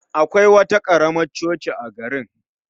Akwai wata karamar coci a garin